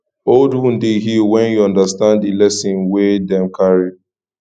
old wound dey heal wen yu undastand di lesson wey dem carry